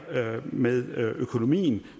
med økonomien